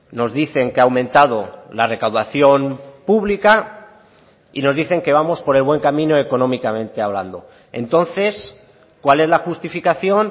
nos dicen que ha aumentado la recaudación pública y nos dicen que vamos por el buen camino económicamente hablando entonces cuál es la justificación